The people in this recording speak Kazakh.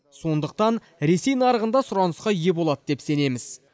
сондықтан ресей нарығында сұранысқа ие болады деп сенеміз